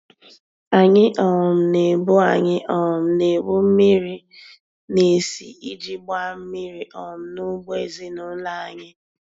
Anyị um na-ebu Anyị um na-ebu mmiri n'isi iji gbaa mmiri um n'ugbo ezinụlọ anyị.